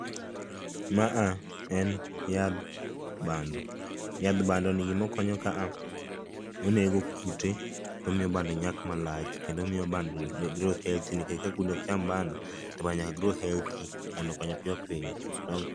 maa en yadh bando, yadh bando ni gima okonyo ka a,onego kute tomiyo bando nyak malach kendo omiyo bando grow healthy nikech ka kudgi ok cham bando to bando nyaka grow healthy mondo okony piyo piyo